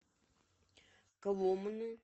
коломны